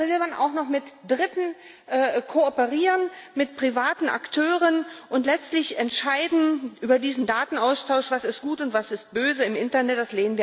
Und dazu will man auch noch mit Dritten kooperieren, mit privaten Akteuren, und letztlich entscheiden über diesen Datenaustausch, was ist gut und was ist böse im Internet.